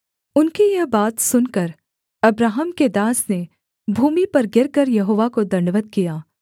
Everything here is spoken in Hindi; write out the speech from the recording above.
उनकी यह बात सुनकर अब्राहम के दास ने भूमि पर गिरकर यहोवा को दण्डवत् किया